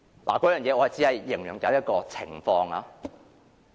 我只是舉例來形容這種情況。